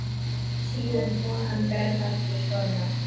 Síðan fór hann berfættur í skóna.